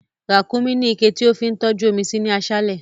Rákúnmí ní iké tí ó fi ń tọ́jú omi sí ní aṣálẹ̀